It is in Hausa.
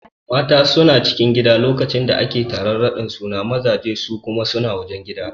Mata suna cikin gida lokacin da ake taron raɗin suna mazaje su kuma suna wajen gida